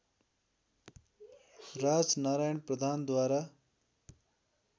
राजनारायण प्रधानद्वारा